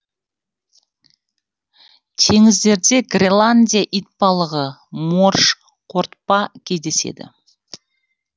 теңіздерде гренландия итбалығы морж қортпа кездеседі